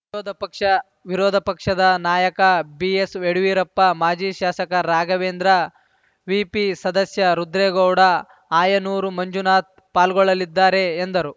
ವಿರೋಧ ಪಕ್ಷ ವಿರೋಧ ಪಕ್ಷದ ನಾಯಕ ಬಿಎಸ್‌ ಯಡಿಯೂರಪ್ಪ ಮಾಜಿ ಶಾಸಕ ರಾಘವೇಂದ್ರ ವಿಪಿ ಸದಸ್ಯ ರುದ್ರೇಗೌಡ ಆಯನೂರು ಮಂಜುನಾಥ್‌ ಪಾಲ್ಗೊಳ್ಳಲಿದ್ದಾರೆ ಎಂದರು